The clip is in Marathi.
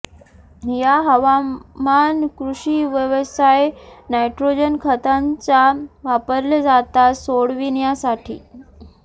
या हवामान कृषी व्यवसाय नायट्रोजन खतांचा वापरले जातात सोडविण्यासाठी